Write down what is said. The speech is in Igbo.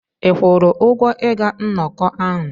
Ị kwụrụ ụgwọ ịga nnọkọ ahụ?